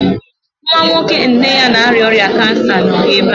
Nwa nwoke nne ya na-arịa ọrịa kansa nọ ebe a